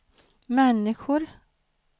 människor